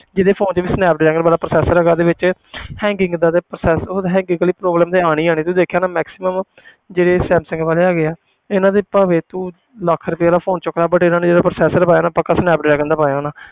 ਜਿਹਦੇ phone ਵਿੱਚ ਵੀ ਸਨੈਪ ਡਰੈਗਨ ਵਾਲਾ processor ਹੈਗਾ ਉਹਦੇ ਵਿੱਚ hanging ਏਦਾਂ ਦੇ process hanging ਵਾਲੀ problem ਤੇ ਆਉਣੀ ਆਉਣੀ ਤੂੰ ਦੇਖਿਆ ਹੋਣਾ maximum ਜਿਹੜੇ ਸੈਮਸੰਗ ਵਾਲੇ ਹੈਗੇ ਹੈ ਇਹਨਾਂ ਦੇ ਭਾਵੇਂ ਤੂੰ ਲੱਖ ਰੁਪਏ ਦਾ phone ਚੁੱਕ ਲਾ but ਇਹਨਾਂ ਨੇ ਜਿਹੜਾ processor ਪਾਇਆ ਨਾ ਪੱਕਾ ਸਨੈਪ ਡਰੈਗਨ ਦਾ ਪਾਇਆ ਹੋਣਾ